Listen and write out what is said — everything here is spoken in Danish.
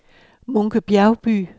Munke Bjergby